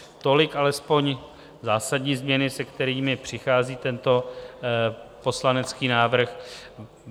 Tolik alespoň zásadní změny, se kterými přichází tento poslanecký návrh.